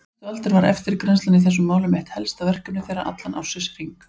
Næstu aldir var eftirgrennslan í þessum málum eitt helsta verkefni þeirra allan ársins hring.